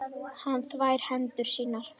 Hann þvær hendur sínar.